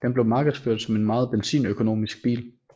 Den blev markedsført som en meget benzinøkonomisk bil